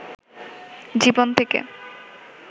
জীবন থেকে